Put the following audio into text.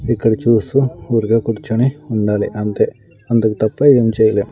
ఇక్కడ చూస్తూ ఊరికే కూర్చుని ఉండాలి అంతే అందుకు తప్ప ఏం చేయలేం.